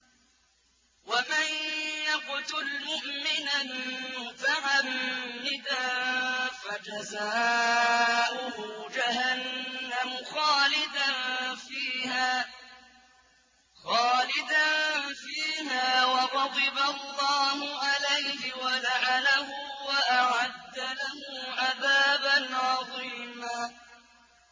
وَمَن يَقْتُلْ مُؤْمِنًا مُّتَعَمِّدًا فَجَزَاؤُهُ جَهَنَّمُ خَالِدًا فِيهَا وَغَضِبَ اللَّهُ عَلَيْهِ وَلَعَنَهُ وَأَعَدَّ لَهُ عَذَابًا عَظِيمًا